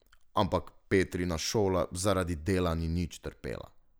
Ampak Petrina šola zaradi dela ni nič trpela.